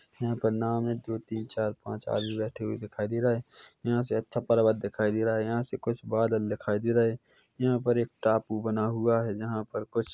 यहाँ पर नाव में दो तीन चार पाँच आदमी बैठे हुए दिखाई दे रहे है यहाँ से अच्छा पर्वत दिखाई दे रहा है यहाँ से कुछ बादल दिखाई दे रहे यहाँ पर एक टापू बना हुआ है जहाँ पर कुछ--